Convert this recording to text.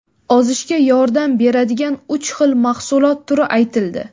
Ozishga yordam beradigan uch xil mahsulot turi aytildi.